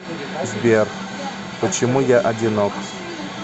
сбер почему я одинок